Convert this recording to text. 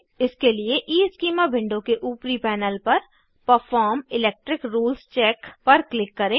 इसके लिए schema window के ऊपरी पैनल पर परफॉर्म इलेक्ट्रिक रूल्स चेक पर क्लिक करें